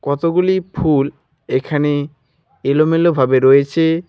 কতগুলি ফুল এখানে এলোমেলো ভাবে রয়েচে।